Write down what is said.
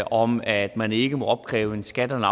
om at man ikke må opkræve en skat eller